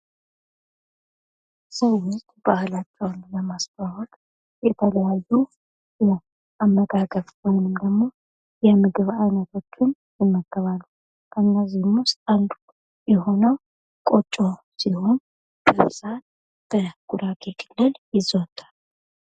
ሰዎች ባህላቸውን ለማስታወቅ የተለያዩ የአመጋገብ ወይም ደሞ የምግብ ዓይነቶችን ይመገባሉ ውስጥ አንዱ የሆነው ቆጮ ሲሆን በብዛት በጉራጌ ክልል የዘወትራል።